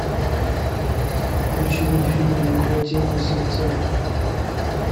включи мне фильм неукротимые сердца